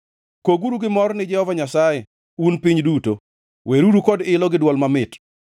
Koguru gi mor ni Jehova Nyasaye, un piny duto, weruru kod ilo gi dwol mamit;